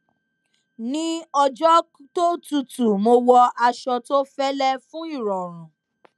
ní ọjọ tó tútù mo wọ aṣọ tó fẹlẹ fún ìrọrùn